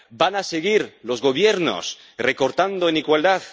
¿Van a seguir los gobiernos recortando en igualdad?